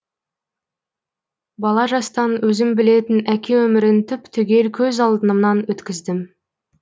бала жастан өзім білетін әке өмірін түп түгел көз алдымнан өткіздім